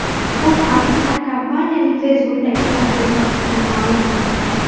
Bu haqda kompaniyaning Facebook’dagi sahifasida ma’lum qilindi .